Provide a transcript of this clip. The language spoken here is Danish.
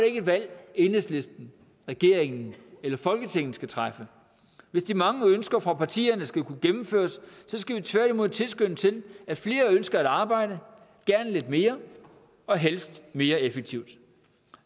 ikke et valg enhedslisten regeringen eller folketinget skal træffe hvis de mange ønsker fra partierne skal kunne gennemføres skal vi tværtimod tilskynde til at flere ønsker at arbejde gerne lidt mere og helst mere effektivt